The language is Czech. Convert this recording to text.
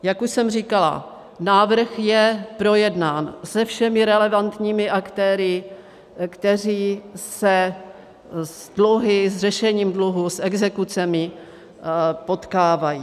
Jak už jsem říkala, návrh je projednán se všemi relevantními aktéry, kteří se s dluhy, s řešením dluhů, s exekucemi potkávají.